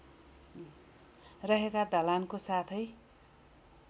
रहेका ढलानको साथै